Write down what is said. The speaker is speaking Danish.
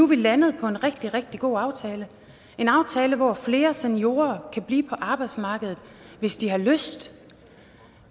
vi landet på en rigtig rigtig god aftale en aftale hvor flere seniorer kan blive på arbejdsmarkedet hvis de har lyst